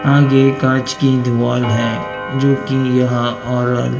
आगे कांच की दीवाल है जो कि यह ऑरल--